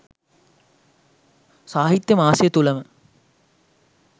සාහිත්‍ය මාසය තුළම